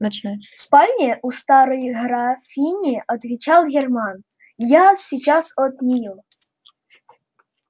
в спальне у старой графини отвечал германн я сейчас от нее